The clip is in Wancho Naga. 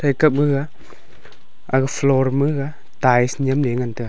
eka maga aga floor ma ga tiles niam la ngan taga.